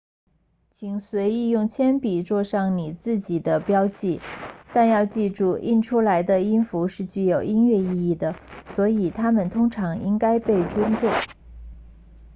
请随意用铅笔作上你自己的标记但要记住印出来的音符是具有音乐意义的所以它们通常应该被尊重